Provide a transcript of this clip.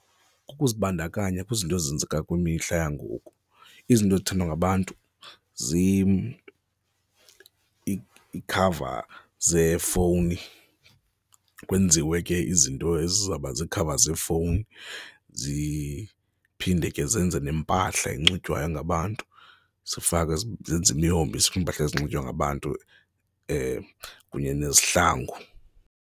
Kukuzibandakanya kwizinto ezenzeka kwimihla yangoku, izinto ezithandwa ngabantu iikhava zeefowuni kwenziwe ke izinto ezizawuba ziikhava zeefowuni, ziphinde ke zenze neempahla enxitywayo ngabantu, zifakwe zenze imihombiso iimpahla ezinxitywayo ngabantu kunye nezihlangu.